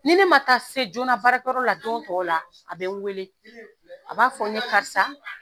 Ni ne ma taa se joona baarakɛyɔrɔ la don tɔw la a bɛ wele a b'a fɔ n ye karisa